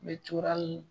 Bɛ turan